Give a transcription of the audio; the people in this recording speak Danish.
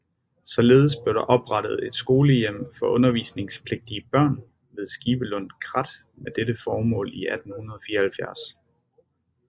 Således blev der oprettet et skolehjem for undervisningspligtige børn ved Skibelund Krat med dette formål i 1874